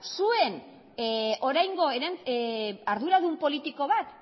zuen oraingo arduradun politiko bat